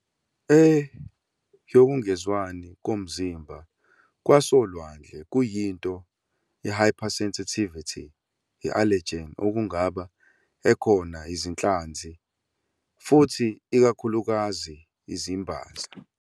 A yokungezwani komzimba kwasolwandle kuyinto hypersensitivity i allergen okungaba ekhona izinhlanzi, futhi ikakhulukazi izimbaza.